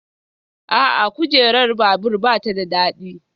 A'a, kujerar babur ba ta da daɗi